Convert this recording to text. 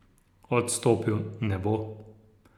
Odstopil ne bo.